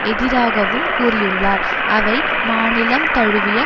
எதிராகவும் கூறியுள்ளார் அவை மாநிலம் தழுவிய